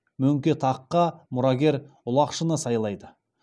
мөңке таққа мұрагер ұлақшыны сайлайды